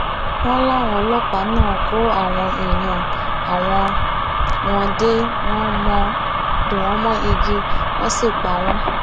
wọn láwọn ọlọpàá náà kó àwọn èèyàn àwọn wọn dè wọn mọ igi wọn sì pa wọn